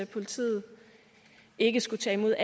politiet ikke skulle tage imod